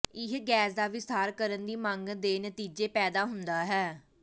ਇਹ ਗੈਸ ਦਾ ਵਿਸਥਾਰ ਕਰਨ ਦੀ ਮੰਗ ਦੇ ਨਤੀਜੇ ਪੈਦਾ ਹੁੰਦਾ ਹੈ